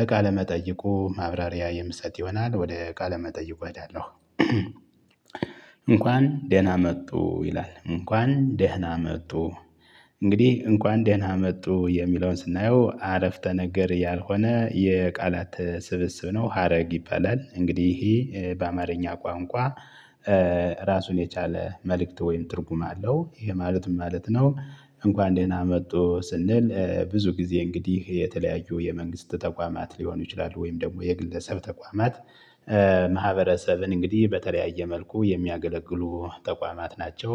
እ ቃለመጠይቁ ማብራሪያ የምሰጥ ይሆናል ወደ ቃለመጠይቁ እሄዳለሁ። እንኳን ደህና መጡ ይላል እንኳን ደህና መጡ። እንግዲህ እንኳን ደህና መጡ የሚለውን ስናየው አረፍተ ነገር ያልሆነ የቃላት ስብስብ ነው ሀረግ ይባላል። እንግዲህ ይሄ በአማርኛ ቋንቋ። ራሱን የቻለ መልእክት ወይም ትርጉም አለው ይሄ ማለት ማለት ነው። እንኳን ደህና መጡ ስንል ብዙ ጊዜ እንግዲህ የተለያዩ የመንግስት ተቋማት ሊሆኑ ይችላሉ ወይም ደግሞ የግለሰብ ተቋማት ማህበረሰብን እንግዲህ በተለያየ መልኩ የሚያገለግሉ ተቋማት ናቸው።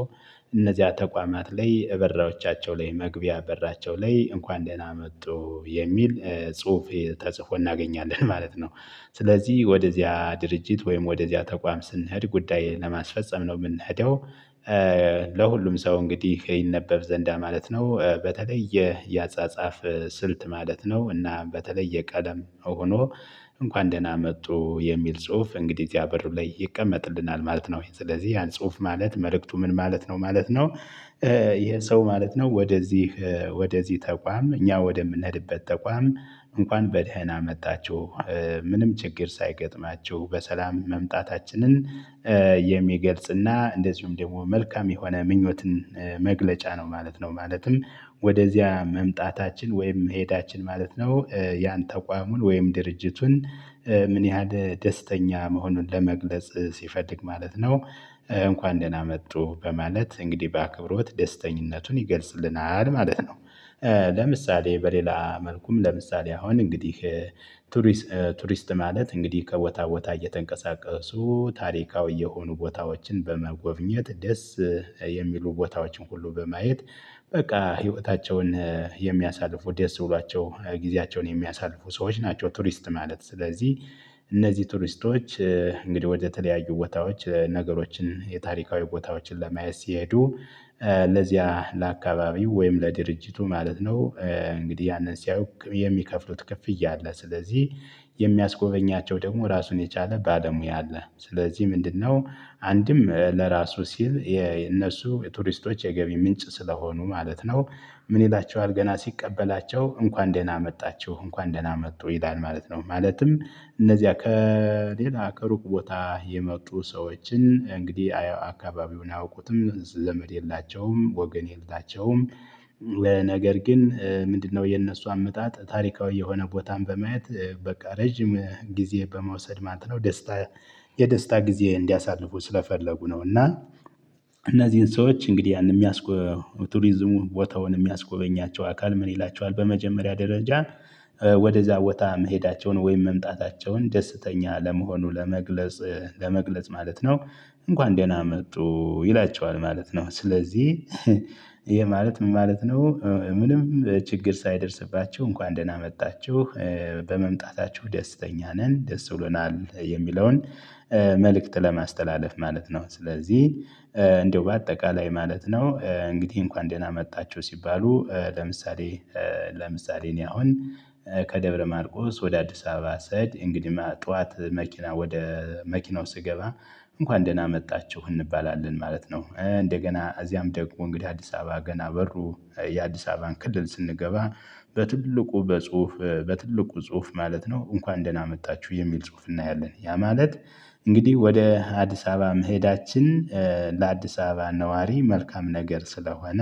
እነዚያ ተቋማት ላይ እበርዎቻቸው ላይ መግቢያ በራቸው ላይ እንኳን ደህና መጡ የሚል ጽሁፍ ተጽፎ እናገኛለን ማለት ነው። ስለዚህ ወደዚያ ድርጅት ወይም ወደዚያ ተቋም ስንሄድ ጉዳይ ለማስፈፀም ነው የምንሄደው። ለሁሉም ሰው እንግዲህ ይነበብ ዘንዳ ማለት ነው። በተለይ የ ያጻጻፍ ስልት ማለት ነው እና በተለየ ቀለም ሆኖ እንኳን ደህና መጡ የሚል ጽሁፍ እንግዲህ እዚያ በሩ ላይ ይቀመጥልናል ማለት ነው። ስለዚህ ያን ጽሁፍ ማለት መልእክቱ ምን ማለት ነው ማለት ነው። ይሄ ሰው ማለት ነው ወደዚህ ወደዚህ ተቋም እኛ ወደምንሄድበት ተቋም እንኳን በደህና መጣችሁ። ምንም ችግር ሳይገጥማችሁ በሰላም መምጣታችንን የሚገልጽና እንደዚሁም ደግሞ መልካም የሆነ ምኞትን መግለጫ ነው ማለት ነው። ማለትም ወደዚያ መምጣታችን ወይም መሄዳችን ማለት ነው። ያን ተቋሙን ወይም ድርጅቱን ምን ያህል ደስተኛ መሆኑን ለመግለጽ ሲፈልግ ማለት ነው። እንኳን ደህና መጡ በማለት እንግዲህ በአክብሮት ደስተኝነቱን ይገልጽልናል ማለት ነው። ለምሳሌ በሌላ መልኩም ለምሳሌ አሁን እንግዲህ። ቱሪስት ማለት እንግዲህ ከቦታ ቦታ እየተንቀሳቀሱ ታሪካዊ የሆኑ ቦታዎችን በመጎብኘት ደስ የሚሉ ቦታዎችን ሁሉ በማየት በቃ ህይወታቸውን የሚያሳልፉ ደስ ብሏቸው ጊዜያቸውን የሚያሳልፉ ሰዎች ናቸው። ቱሪስት ማለት ስለዚህ። እነዚህ ቱሪስቶች እንግዲህ ወደተለያዩ ቦታዎች ነገሮችን የታሪካዊ ቦታዎችን ለማየት ሲሄዱ ለዚያ ለአካባቢው ወይም ለድርጅቱ ማለት ነው። እንግዲህ ያንን ሲያውቅ የሚከፍሉት ክፍያ አለ ስለዚህ። የሚያስጎበኛቸው ደግሞ ራሱን የቻለ ባለሙያ አለ ስለዚህ ምንድነው? አንድም ለራሱ ሲል የእነሱ የቱሪስቶች የገቢ ምንጭ ስለሆኑ ማለት ነው። ምን ይላቸዋል ገና ሲቀበላቸው እንኳን ደህና መጣችሁ እንኳን ደህና መጡ ይላል። ማለት ነው ማለትም እነዚያ ከሌላ ከሩቅ ቦታ የመጡ ሰዎችን እንግዲህ አካባቢውን አያውቁትም ዘመድ የላቸውም ወገን የላቸውም። ነገር ግን ምንድነው? የነሱ አመጣጥ ታሪካዊ የሆነ ቦታን በማየት በቃ ረጅም ጊዜ በመውሰድ ማለትነው ደስታ የደስታ ጊዜ እንዲያሳልፉ ስለፈለጉ ነው። እና እነዚህን ሰዎች እንግዲህ ያንን የሚያስጎበኛቸው ቱሪዝሙን ቦታውን የሚያስጎበኛቸው አካል ምን ይላቸዋል በመጀመሪያ ደረጃ። ወደዛ ቦታ መሄዳቸውን ወይም መምጣታቸውን ደስተኛ ለመሆኑ ለመግለጽ ለመግለጽ ማለት ነው። እንኳን ደህና መጡ ይላቸዋል ማለት ነው። ስለዚህ ይሄ ማለት ምን ማለት ነው? ምንም ችግር ሳይደርስባችሁ እንኳን ደህና መጣችሁ። በመምጣታችሁ ደስተኛ ነን ደስ ብሎናል የሚለውን መልእክት ለማስተላለፍ ማለት ነው። ስለዚህ እንደው በአጠቃላይ ማለት ነው። እንግዲህ እንኳን ደህና መጣችሁ ሲባሉ ለምሳሌ ለምሳሌ እኔ አሁን። ከደብረ ማርቆስ ወደ አዲስ አበባ ስሄድ እንግዲህ ጠዋት መኪና ወደ መኪናው ስገባ እንኳን ደህና መጣችሁ እንባላለን ማለት ነው። እንደገና እዚያም ደግሞ እንግዲህ አዲስ አበባ ገና በሩ የአዲስ አበባን ክልል ስንገባ። በትልቁ በጽሁፍ በትልቁ ጽሁፍ ማለት ነው እንኳን ደህና መጣችሁ የሚል ጽሁፍ እናያለን። ያ ማለት እንግዲህ ወደ አዲስ አበባ መሄዳችን ለአዲስ አበባ ነዋሪ መልካም ነገር ስለሆነ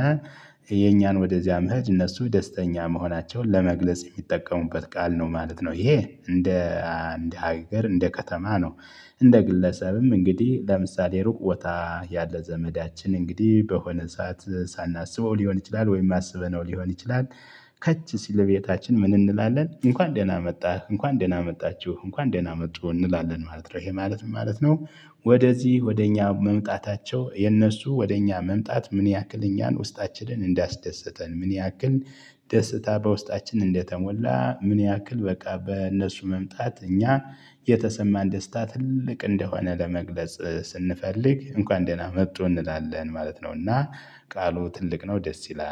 የእኛን ወደዚያ መሄድ እነሱ ደስተኛ መሆናቸውን ለመግለጽ የሚጠቀሙበት ቃል ነው ማለት ነው። ይሄ እንደ አንድ ሀገር እንደ ከተማ ነው። እንደ ግለሰብም እንግዲህ ለምሳሌ ሩቅ ቦታ ያለ ዘመዳችን እንግዲህ በሆነ ሰዓት ሳናስበው ሊሆን ይችላል ወይም አስበነው ነው ሊሆን ይችላል። ከች ሲል ቤታችን ምን እንላለን? እንኳን ደህና መጣህ እንኳን ደህና መጣችሁ እንኳን ደህና መጡ እንላለን ማለት ነው። ይሄ ማለት ምን ማለት ነው? ወደዚህ ወደ እኛ መምጣታቸው የነሱ ወደ እኛ መምጣት ምን ያክል እኛን ውስጣችንን እንዳስደሰተን ምን ያክል ደስታ በውስጣችን እንደተሞላ ምን ያክል በቃ በእነሱ መምጣት እኛ የተሰማን ደስታ ትልቅ እንደሆነ ለመግለጽ ስንፈልግ እንኳን ደህና መጡ እንላለን ማለት ነው። እና ቃሉ ትልቅ ነው ደስ ይላል